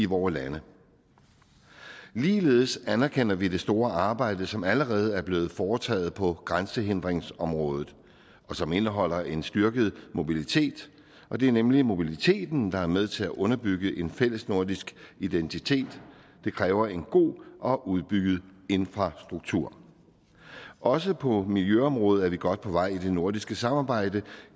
vore lande ligeledes anerkender vi det store arbejde som allerede er blevet foretaget på grænsehindringsområdet og som indeholder en styrket mobilitet og det er nemlig mobiliteten der er med til at underbygge en fælles nordisk identitet det kræver en god og udbygget infrastruktur også på miljøområdet er vi godt på vej i det nordiske samarbejde